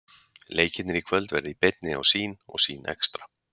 Leikirnir í kvöld verða í beinni á Sýn og Sýn Extra.